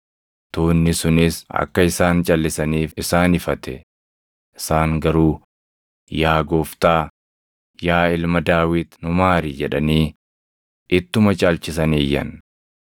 Tuunni sunis akka isaan calʼisaniif isaan ifate; isaan garuu, “Yaa Gooftaa, yaa Ilma Daawit nu maari!” jedhanii ittuma caalchisanii iyyan.